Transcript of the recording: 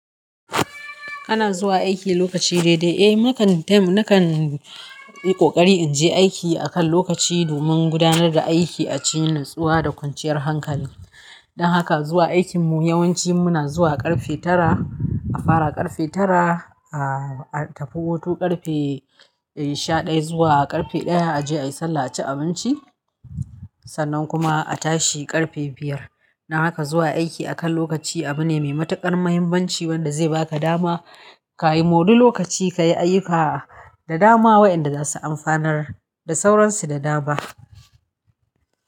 Kana zuwa aiki lokaci daidai? Eh, nakan time, nakan yi ƙoƙari mu je aiki a kan lokaci domin gudanar da aiki a cikin nutsuwa da kwanciyar hankali. Don haka zuwa aikinmu yawanci muna zuwa ƙarfe tara, a fara ƙarfe tara, a tafi hutu ƙarfe shaɗaya zuwa ƙarfe ɗaya a je a yi sallah, a ci abinci. Sannan kuma a tashi ƙarfe biyar. Don haka zuwa aiki a kan lokaci abu ne mai matuƙar muhimmanci wanda zai baka dama ka yi ma duk lokaci ka yi ayyuka da dama wayanda za su amfanar da sauransu da dama.